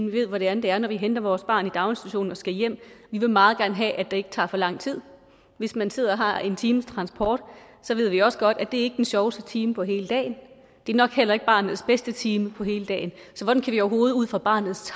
vi ved hvordan det er når vi henter vores barn i daginstitutionen og skal hjem vi vil meget gerne have at det ikke tager for lang tid hvis man sidder og har en times transport så ved vi også godt at det ikke er den sjoveste time på hele dagen det er nok heller ikke barnets bedste time på hele dagen så hvordan kan vi overhovedet ud fra barnets